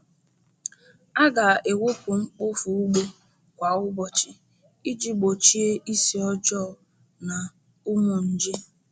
A ga-ewepụ mkpofu ugbo kwa ụbọchị iji gbochie isi ọjọọ na ụmụ nje.